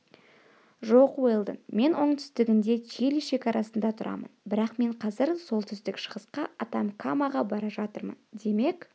жоқ уэлдон мен оңтүстігінде чили шекарасында тұрамын бірақ мен қазір солтүстік-шығысқа атакамаға бара жатырмын демек